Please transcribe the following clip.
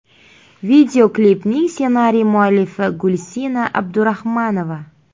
Videoklipning ssenariy muallifi Gulsina Abdurahmanova.